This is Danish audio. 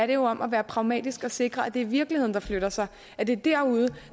det jo om at være pragmatisk og sikre at det er virkeligheden der flytter sig at det er derude